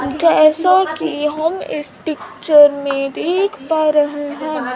जैसा कि हम इस पिक्चर मे देख पा रहे हैं।